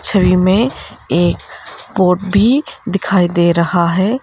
छवि में एक बोर्ड भी दिखाई दे रहा है।